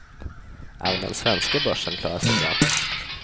Även den svenska börsen klarar sig bra.